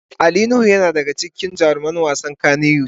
Ali nuhu yana daya daga cikin jaruman wasan kanny wood.